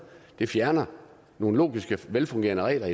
det fjerner nogle logiske og velfungerende regler